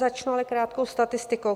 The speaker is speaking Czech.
Začnu ale krátkou statistikou.